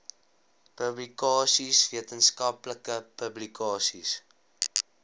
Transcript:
publikasies wetenskaplike publikasies